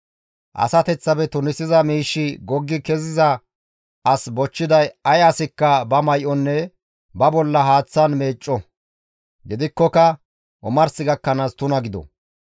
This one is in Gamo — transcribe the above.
«Asateththafe tunisiza miishshi goggi keziza as bochchiday ay asikka ba may7onne ba bolla haaththan meecco; gidikkoka omars gakkanaas tuna gido.